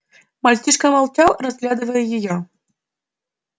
мальчишка молчал разглядывая её